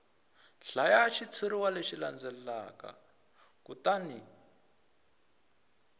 hlaya xitshuriwa lexi landzelaka kutani